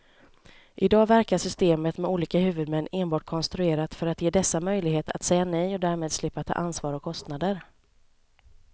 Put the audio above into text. I dag verkar systemet med olika huvudmän enbart konstruerat för att ge dessa möjlighet att säga nej och därmed slippa ta ansvar och kostnader.